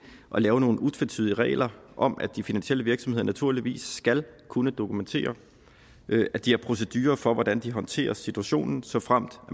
at lave nogle utvetydige regler om at de finansielle virksomheder naturligvis skal kunne dokumentere at de har procedurer for hvordan de håndterer situationen såfremt